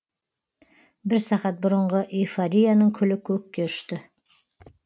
бір сағат бұрынғы эйфорияның күлі көкке ұшты